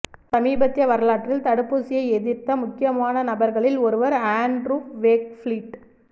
சமீபத்திய வரலாற்றில் தடுப்பூசியை எதிர்த்த முக்கியமான நபர்களில் ஒருவர் ஆண்ட்ரூ வேக்ஃபீல்ட்